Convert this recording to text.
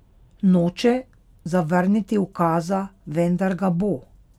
Noče zavrniti ukaza, vendar ga bo.